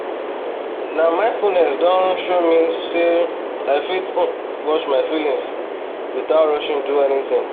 na mindfulness don um show me say um i fit um watch my feelings without rushing do anything